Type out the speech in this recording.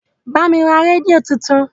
Bá mi ra rédíò tuntun!